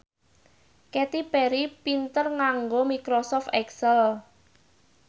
Katy Perry pinter nganggo microsoft excel